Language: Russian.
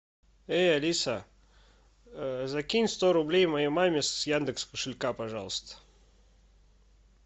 эй алиса закинь сто рублей моей маме с яндекс кошелька пожалуйста